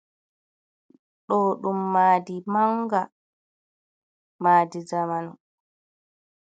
Ɗo ɗum madi manga, madi jamanu.